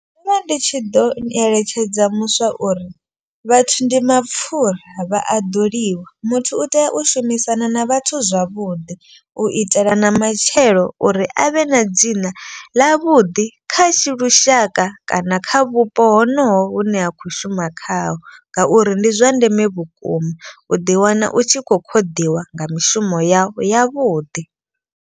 Ndo vha ndi tshi ḓo eletshedza muswa uri vhathu ndi mapfura vha a ḓoliwa. Muthu u tea u shumisana na vhathu zwavhuḓi u itela na matshelo uri avhe na dzina ḽa vhuḓi kha lushaka. Kana kha vhupo ho noho hune ha khou shuma khaho. Ngauri ndi zwa ndeme vhukuma u ḓi wana u tshi kho ṱoḓiwa nga mishumo yavho ya vhuḓi.